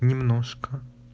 немножко